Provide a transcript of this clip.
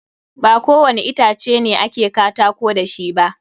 Ba ko wani itace ne a ke katako da shi ba.